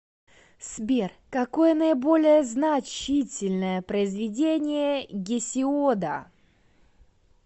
сбер какое наиболее значительное произведение гесиода